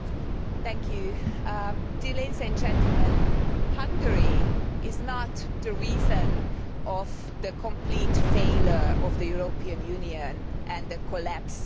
Mr President, ladies and gentlemen, Hungary is not the reason for the complete failure of the European Union and the collapse of your system.